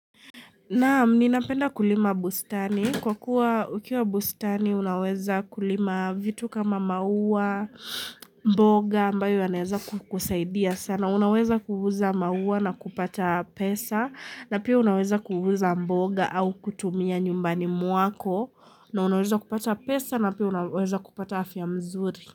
Naam, ninapenda kulima bustani. Kwa kuwa ukiwa bustani, unaweza kulima vitu kama maua, mboga, ambayo aneza kusaidia sana. Unaweza kuuza maua na kupata pesa, na pia unaweza kuuza mboga au kutumia nyumbani mwako, na unaweza kupata pesa, na pia unaweza kupata afya mzuri.